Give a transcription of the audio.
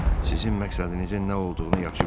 Sizin məqsədinizin nə olduğunu yaxşı bilirəm.